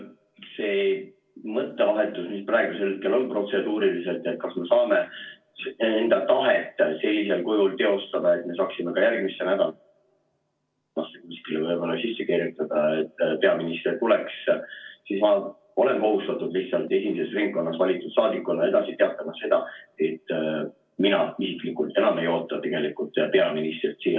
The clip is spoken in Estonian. See protseduuriline mõttevahetus, mis praegusel hetkel on, et kas me saame enda tahet sellisel kujul teostada, et me saaksime järgmisse nädalasse kuskile võib-olla sisse kirjutada, et peaminister tuleks, siis ma olen kohustatud esimeses ringkonnas valitud saadikuna teatama, et mina isiklikult enam ei oota peaministrit siia.